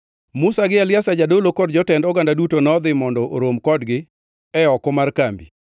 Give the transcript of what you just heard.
Musa gi Eliazar jadolo kod jotend oganda duto nodhi mondo orom kodgi e oko mar kambi.